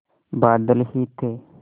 बादल ही थे